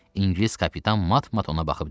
İngilis kapitan mat-mat ona baxıb dedi.